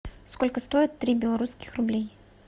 сколько стоит три белорусских рублей